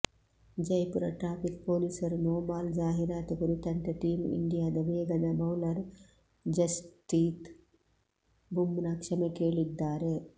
Jaipur traffic ಪೊಲೀಸರು no ball ಜಾಹೀರಾತು ಕುರಿತಂತೆ ಟೀಮ್ ಇಂಡಿಯಾದ ವೇಗದ ಬೌಲರ್ ಜಸ್ಪ್ರೀತ್ ಬುಮ್ರಾ ಕ್ಷಮೆ ಕೇಳಿದ್ದಾರೆ